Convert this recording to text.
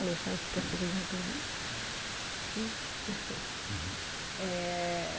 Alexandre, você quer fazer alguma pergunta? Eh...